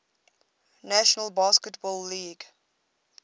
national basketball league